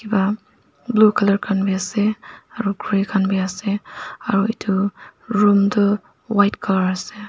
uh blue colour khan bi ase aro grey khan bi ase aru edu room tu white colour ase.